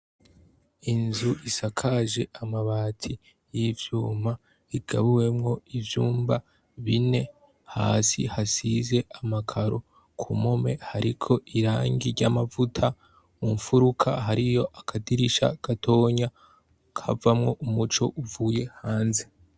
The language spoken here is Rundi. Inzu isakaje amabati y'ivyuma, igabuwemwo ivyumba bine, hasi hasize amakaro, ku mpome hariko irangi ry'amavuta, mu nfuruka hariyo akadirisha gatonya kavamwo umuco uva hanze.